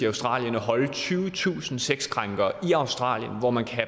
australien at holde tyvetusind sexkrænkere i australien hvor man kan